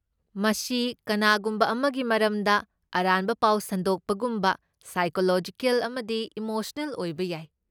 ꯃꯁꯤ ꯀꯅꯥꯒꯨꯝꯕ ꯑꯃꯒꯤ ꯃꯔꯝꯗ ꯑꯔꯥꯟꯕ ꯄꯥꯎ ꯁꯟꯗꯣꯛꯄꯒꯨꯝꯕ ꯁꯥꯏꯀꯣꯂꯣꯖꯤꯀꯦꯜ ꯑꯃꯗꯤ ꯏꯃꯣꯁꯅꯦꯜ ꯑꯣꯏꯕ ꯌꯥꯏ꯫